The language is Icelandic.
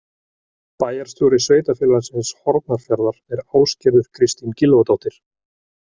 Bæjarstjóri Sveitarfélagsins Hornafjarðar er Ásgerður Kristín Gylfadóttir.